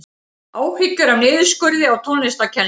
Áhyggjur af niðurskurði á tónlistarkennslu